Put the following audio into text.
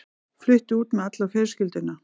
Flutti út með alla fjölskylduna.